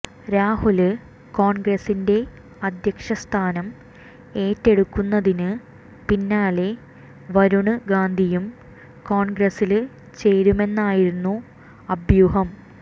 രാഹുല് കോണ്ഗ്രസിന്റെ അദ്ധ്യക്ഷസ്ഥാനം ഏറ്റെടുക്കുന്നതിന് പിന്നാലെ വരുണ് ഗാന്ധിയും കോണ്ഗ്രസില് ചേരുമെന്നായിരുന്നു അഭ്യൂഹം